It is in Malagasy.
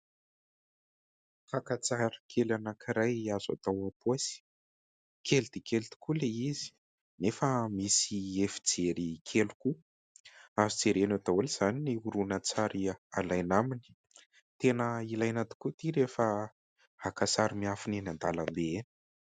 Fakan-tsary kely anankiray azo atao ampaosy, kely dia kely tokoa Ilay izy nefa misy efijery kely koa. Azo jerena daholo izany ny horonan-tsary alaina aminy. Tena ilaina tokoa ity rehefa haka sary miafina eny an-dalambe eny.